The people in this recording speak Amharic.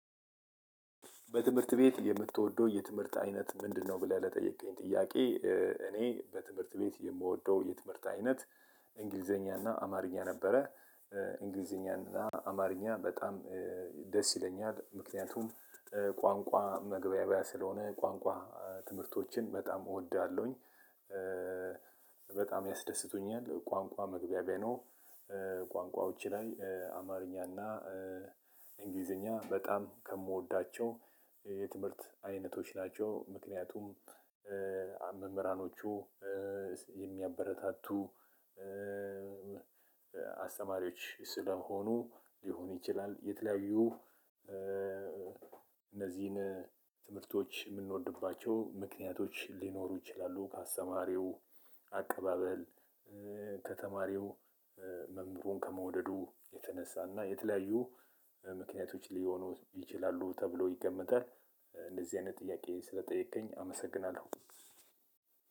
በትምህርት ቤት የምትወደው የትምህርት አይነት ምንድነው? ብለህ ለጠየቅከኝ ጥያቄ እኔ በትምህርት ቤት የምወደው የትምህርት አይነት እንግሊዘኛ እና አማርኛ ነበረ። እንግሊዘኛ እና አማርኛ በጣም ደስ ይለኛል። ምክንያቱም ቋንቋ መግባቢያ ስለሆነ ቋንቋ ትምህርቶችን በጣም እወዳለሁኝ። በጣም ያስደስቱኛል ቋንቋ መግቢያ ነው። ቋንቋዎች ላይ አማርኛ እና እንግሊዘኛ በጣም ከምወዳቸው የትምህርት አይነቶች ናቸው። ምክንያቱም መምህራኖቹ የሚያበረታቱ አስተማሪዎች ስለሆኑ ሊሆን ይችላል። የተለያዩ እነዚህን ትምህርቶች ምንወድባቸው ምክንያቶች ሊኖሩ ይችላሉ። ከአስተማሪው አቀባበል ከተማሪው መምህሩም ከመውደዱ የተነሳና የተለያዩ ምክንያቶች ሊሆኑ ይችላሉ ተብሎ ይገመታል። እንደዚህ አይነት ጥያቄ ስለጠየከኝ አመሰግናለሁ።